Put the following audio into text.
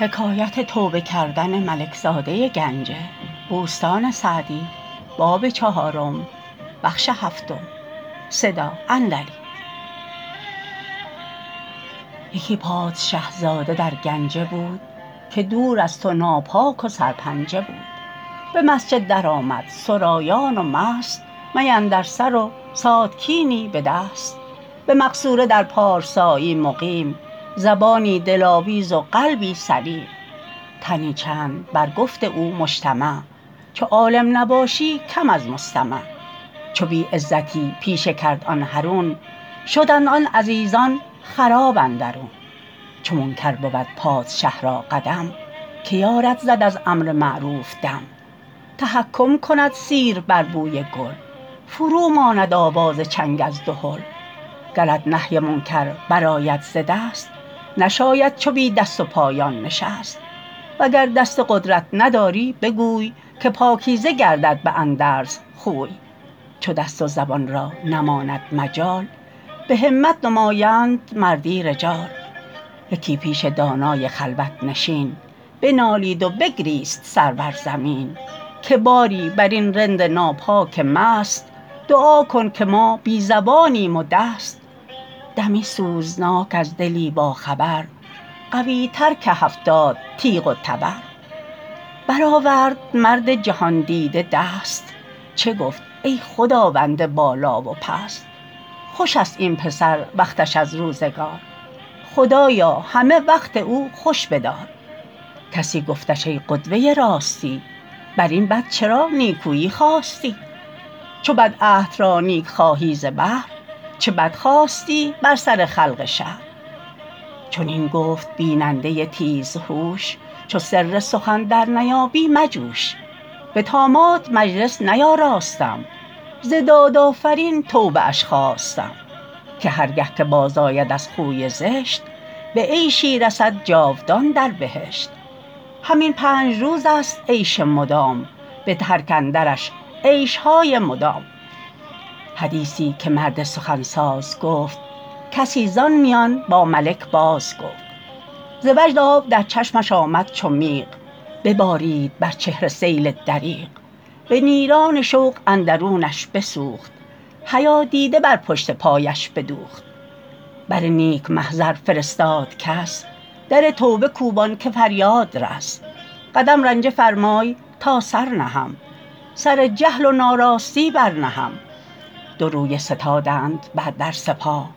یکی پادشه زاده در گنجه بود که دور از تو ناپاک و سرپنجه بود به مسجد در آمد سرایان و مست می اندر سر و ساتکینی به دست به مقصوره در پارسایی مقیم زبانی دلاویز و قلبی سلیم تنی چند بر گفت او مجتمع چو عالم نباشی کم از مستمع چو بی عزتی پیشه کرد آن حرون شدند آن عزیزان خراب اندرون چو منکر بود پادشه را قدم که یارد زد از امر معروف دم تحکم کند سیر بر بوی گل فرو ماند آواز چنگ از دهل گرت نهی منکر بر آید ز دست نشاید چو بی دست و پایان نشست وگر دست قدرت نداری بگوی که پاکیزه گردد به اندرز خوی چو دست و زبان را نماند مجال به همت نمایند مردی رجال یکی پیش دانای خلوت نشین بنالید و بگریست سر بر زمین که باری بر این رند ناپاک و مست دعا کن که ما بی زبانیم و دست دمی سوزناک از دلی با خبر قوی تر که هفتاد تیغ و تبر بر آورد مرد جهاندیده دست چه گفت ای خداوند بالا و پست خوش است این پسر وقتش از روزگار خدایا همه وقت او خوش بدار کسی گفتش ای قدوه راستی بر این بد چرا نیکویی خواستی چو بد عهد را نیک خواهی ز بهر چه بد خواستی بر سر خلق شهر چنین گفت بیننده تیز هوش چو سر سخن در نیابی مجوش به طامات مجلس نیاراستم ز داد آفرین توبه اش خواستم که هر گه که باز آید از خوی زشت به عیشی رسد جاودان در بهشت همین پنج روز است عیش مدام به ترک اندرش عیشهای مدام حدیثی که مرد سخن ساز گفت کسی ز آن میان با ملک باز گفت ز وجد آب در چشمش آمد چو میغ ببارید بر چهره سیل دریغ به نیران شوق اندرونش بسوخت حیا دیده بر پشت پایش بدوخت بر نیک محضر فرستاد کس در توبه کوبان که فریاد رس قدم رنجه فرمای تا سر نهم سر جهل و ناراستی بر نهم دو رویه ستادند بر در سپاه